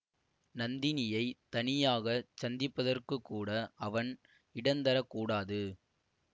நந்தினியைத் தனியாக சந்திப்பதற்குக்கூட அவன் இடந்தரக் கூடாது